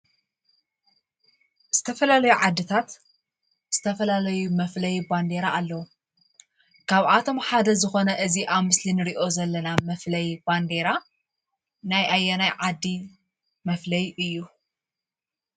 ዝተፈላለያ ዓድታት ዝተፈላለዩ መፍለይ ባንዴራ ኣለዎ። ካብኣቶም ሓደ ዝኮነ እዙይ ኣብ ምስሊ እንርእዮ ዘለና መፍለይ ባንዴራ ናይ ኣየናይ ዓዲ መፍለይ እዩ?